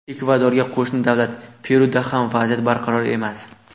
Ekvadorga qo‘shni davlat Peruda ham vaziyat barqaror emas.